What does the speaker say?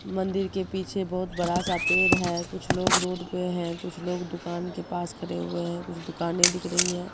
मंदिर के पीछे बहोत बड़ा सा पेड़ है कुछ लोग रोड पे है कुछ लोग दुकान के पास खड़े हुए हैं कुछ दुकानें दिख रही है।